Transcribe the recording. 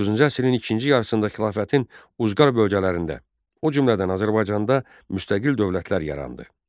Doqquzuncu əsrin ikinci yarısında xilafətin uzqar bölgələrində, o cümlədən Azərbaycanda müstəqil dövlətlər yarandı.